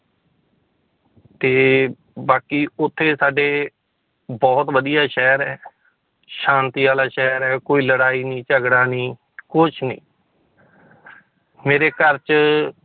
ਤੇ ਬਾਕੀ ਉੱਥੇ ਸਾਡੇ ਬਹੁਤ ਵਧੀਆ ਸ਼ਹਿਰ ਹੈ ਸ਼ਾਂਤੀ ਵਾਲਾ ਸ਼ਹਿਰ ਹੈ ਕੋਈ ਲੜਾਈ ਨੀ ਝਗੜਾ ਨੀ ਕੁਛ ਨੀ ਮੇਰੇ ਘਰ ਚ